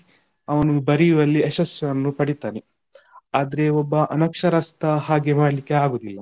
ಅವನು ಬರಿಯುವಲ್ಲಿ ಯಶಸ್ಸನ್ನು ಪಡಿತಾನೆ ಆದ್ರೆ ಒಬ್ಬ ಅನಕ್ಷರಸ್ಥ ಹಾಗೆ ಮಾಡಲಿಕ್ಕೆ ಆಗುದಿಲ್ಲ,